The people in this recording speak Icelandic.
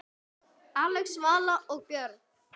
Axel, Vala og börn.